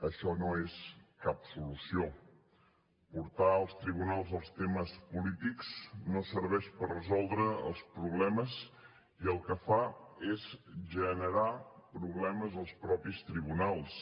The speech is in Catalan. això no és cap solució portar als tribunals els temes polítics no serveix per resoldre els problemes i el que fa és generar problemes als mateixos tribunals